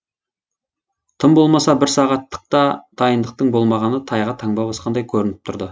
тым болмаса бір сағаттық та дайындықтың болмағаны тайға таңба басқандай көрініп тұрды